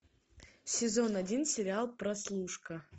сезон один сериал прослушка